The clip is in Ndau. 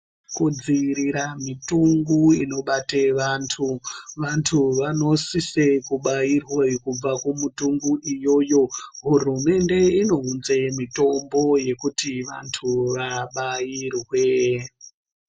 Kudziirira mitungu inobate vantu, vantu vanosise kubairwe kubva kumutungu iyoyo. Hurumende inounze mitombo yekuti vantu vabairwee.